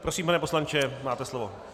Prosím, pane poslanče, máte slovo.